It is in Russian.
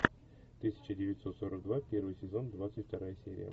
тысяча девятьсот сорок два первый сезон двадцать вторая серия